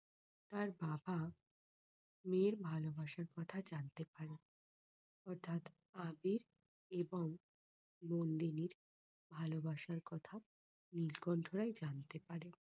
তার বাবা মেয়ের ভালোবাসার কথা জানতে পারে অর্থাৎ আবির এবং নন্দিনীর ভালোবাসার কথা নীলকণ্ঠ রায় জানতে পারে।